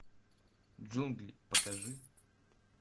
джунгли покажи